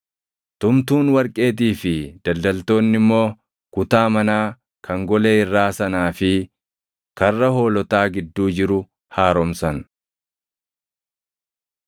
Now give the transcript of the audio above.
tumtuun warqeetii fi daldaltoonni immoo kutaa manaa kan golee irraa sanaa fi Karra Hoolotaa gidduu jiru haaromsan.